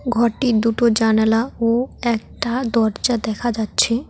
ঘরটির দুটো জানালা ও একটা দরজা দেখা যাচ্ছে।